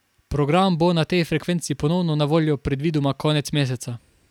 Program bo na tej frekvenci ponovno na voljo predvidoma konec meseca.